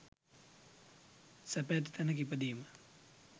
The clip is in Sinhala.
සැප ඇති තැනක ඉපදීම